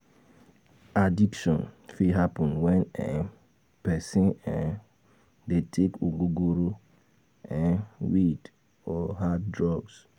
Addiction fit happen when person dey take ogogoro, weed or hard drugs